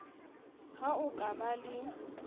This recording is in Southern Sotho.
ha o ka ba le